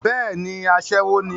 bẹ́ẹ̀ni, asẹ́wọ ní